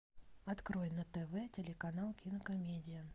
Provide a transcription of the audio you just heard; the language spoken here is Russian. открой на тв телеканал кинокомедия